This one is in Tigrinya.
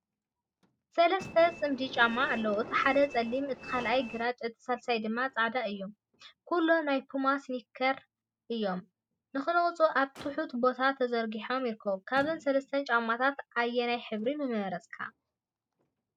ሰለስተ ጽምዲ ጫማታት ኣለዉ። እቲ ሓደ ጸሊም፡ እቲ ካልኣይ ግራጭ፡ እቲ ሳልሳይ ድማ ጻዕዳ እዩ። ኩሎም ናይ ፑማ ስኒከር እዮም። ንኽነቕጹ ኣብ ትሑት ቦታ ተርጊሖም ይርከቡ። ካብዘን ሰለስተ ጫማታት ኣየናይ ሕብሪ ምመረጽካ?